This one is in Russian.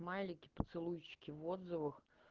смайлики поцелуйчики в отзывах